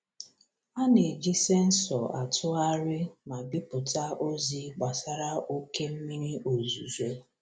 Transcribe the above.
A na-eji sensọ atụgharị ma bipụta ozi gbasara oke mmiri ozuzo.